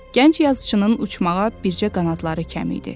Gənc yazıçının uçmağa bircə qanadları kəm idi.